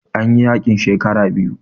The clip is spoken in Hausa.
An yi yaƙin shekara biyu